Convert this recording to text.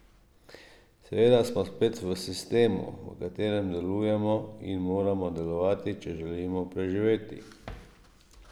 Seveda smo spet v sistemu, v katerem delujemo in moramo delovati, če želimo preživeti.